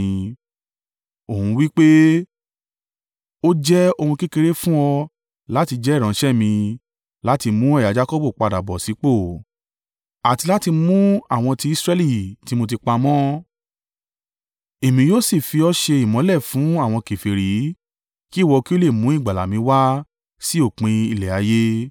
Òun wí pé: “Ó jẹ́ ohun kékeré fún ọ láti jẹ́ ìránṣẹ́ mi láti mú ẹ̀yà Jakọbu padà bọ̀ sípò àti láti mú àwọn ti Israẹli tí mo ti pamọ́. Èmi yóò sì fi ọ́ ṣe ìmọ́lẹ̀ fún àwọn kèfèrí, kí ìwọ kí ó lè mú ìgbàlà mi wá sí òpin ilẹ̀ ayé.”